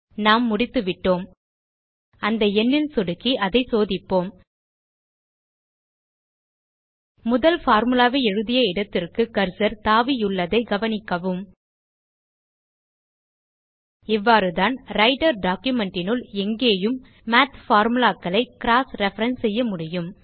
நாம் முடித்துவிட்டோம் அந்த எண்ணில் சொடுக்கி அதை சோதிப்போம் முதல் பார்முலா ஐ எழுதிய இடத்திற்கு கர்சர் தாவியுள்ளதைக் கவனிக்கவும் இவ்வாறுதான் ரைட்டர் documentனுள் எங்கேயும் மாத் formulaகளை க்ராஸ் ரெஃபரன்ஸ் செய்ய முடியும்